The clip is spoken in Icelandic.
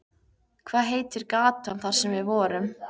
Hvað heitir gatan þar sem við vorum?